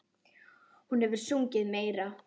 Hún hefur sungið meira.